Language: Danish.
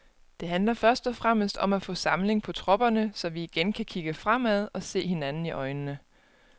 Det handler først og fremmest om at få samling på tropperne, så vi igen kan kigge fremad og se hinanden i øjnene.